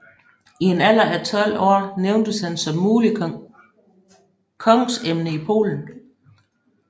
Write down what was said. I en alder af 12 år nævntes han som muligt kongsemne i Polen